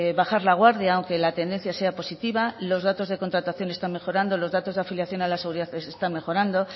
bajar la guardia aunque la tendencia sea positiva los datos de contratación están mejorando los datos de afiliación a la seguridad social están mejorando